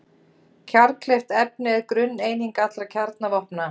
Kjarnkleyft efni er grunneining allra kjarnavopna.